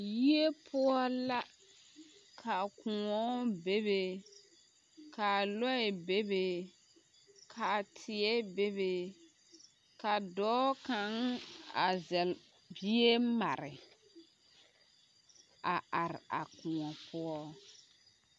Yie poɔ la ka koɔ bebe ka lɔɛ bebe ka teɛ bebe ka dɔɔ kaŋ a zɛlle bie mare a are a koɔ poɔ.